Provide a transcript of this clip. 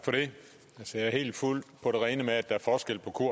stream